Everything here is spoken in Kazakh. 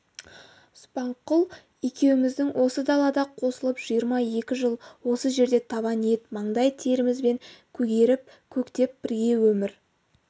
субанқұл екеуміздің осы далада қосылып жиырма екі жыл осы жерде табан ет маңдай терімізбен көгеріп-көктеп бірге өмір